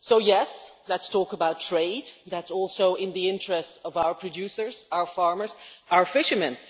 Yes, let us talk about trade, as that is also in the interests of our producers, our farmers, and our fishermen.